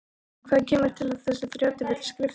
Hvað kemur til að þessi þrjótur vill skrifta?